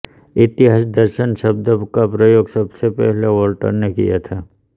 इतिहास दर्शन शब्द का प्रयोग सबसे पहले वोल्टेयर ने किया था